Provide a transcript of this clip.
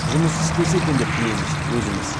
жұмыс істесе екен деп тілейміз өзіміз